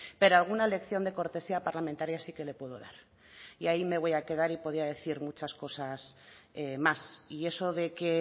pero alguna lección de cortesía parlamentaria sí que le puedo dar y ahí me voy a quedar y podía decir muchas cosas más y eso de que